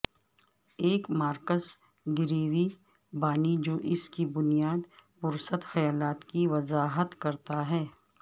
ایک Marcus Garvey بانی جو اس کی بنیاد پرست خیالات کی وضاحت کرتا ہے